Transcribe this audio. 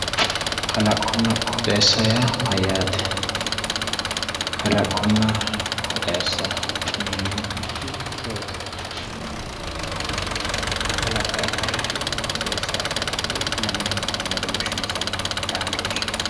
Kalaqonna qooxeessa yaa mayyaate? kalaqonna qooxeessa yineemmo woyte hiittoti? kalaqo ayi kalaqi qooxeessa ay kalaqi lamunku badooshshi maati xaadoshinsana?